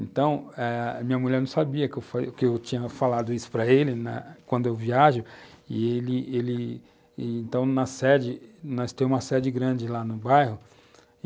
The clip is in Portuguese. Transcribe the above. Então eh... minha mulher não sabia que, que eu tinha falado isso para ele na, quando eu viajo e ele ele... Então, na sede, nós temos uma sede grande lá no bairro.